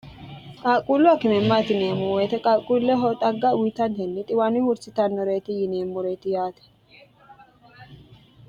qaaqquullu akime maati yineemmo woyite qaaqquulleho xagga uyitannihenni xiwaani hursitannoreeti yineemmoreeti yaate